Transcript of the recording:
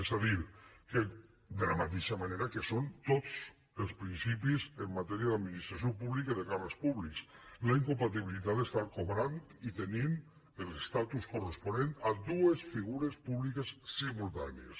és a dir que de la mateixa manera que són tots els principis en matèria d’administració pública i de càrrecs públics la incompatibilitat d’estar cobrant i tenint l’estatus corresponent a dues figures públiques simultànies